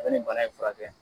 Ko nin bana in fura kɛ.